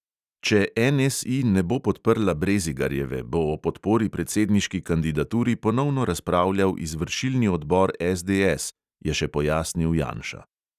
Če NSI ne bo podprla brezigarjeve, bo o podpori predsedniški kandidaturi ponovno razpravljal izvršilni odbor SDS, je še pojasnil janša.